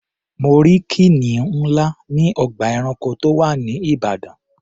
Mo rí kìnìún ńlá ní ọgbà ẹranko tó wà ní Ìbàdàn.